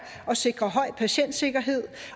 at sikre høj patientsikkerhed